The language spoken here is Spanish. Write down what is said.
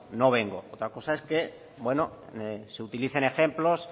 no vengo otra cosa es que bueno se utilicen ejemplos